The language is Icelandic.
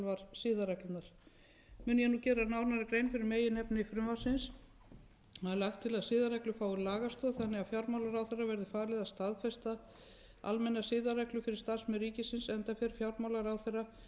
siðareglurnar mun ég nú gera nánari grein fyrir meginefni frumvarpsins það er lagt til að siðareglur fái lagastoð þannig að fjármálaráðherra verði falið að staðfesta almennar siðareglur fyrir starfsmenn ríkisins enda fer fjármálaráðherra